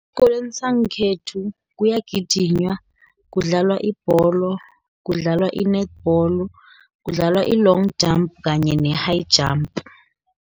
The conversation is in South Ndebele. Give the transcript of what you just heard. Esikolweni sangekhethu kuyagijinywa, kudlalwa ibholo, kudlalwa i-netball, kudlalwa i-long jump, kanye ne-high jump.